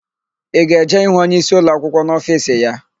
I ga-eje ịhụ onyeisi ụlọakwụkwọ n'ofiisi ya?